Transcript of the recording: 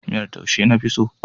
Miyar taushe na fi so.